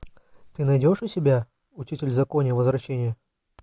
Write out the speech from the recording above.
ты найдешь у себя учитель в законе возвращение